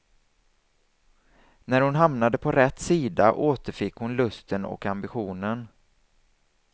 När hon hamnade på rätt sida återfick hon lusten och ambitionen.